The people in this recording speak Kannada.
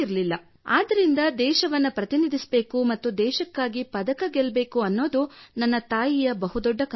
ಆದ್ದರಿಂದ ದೇಶವನ್ನು ಪ್ರತಿನಿಧಿಸಬೇಕು ಮತ್ತು ದೇಶಕ್ಕಾಗಿ ಪದಕ ಗೆಲ್ಲಬೇಕು ಎನ್ನುವುದು ನನ್ನ ತಾಯಿಯ ದೊಡ್ಡ ಕನಸಾಗಿತ್ತು